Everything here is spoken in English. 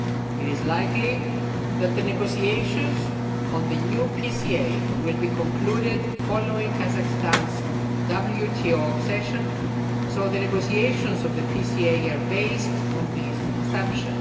It is likely that the negotiations on the new PCA will be concluded following Kazakhstan's WTO accession, so the negotiations of the PCA are based on this assumption.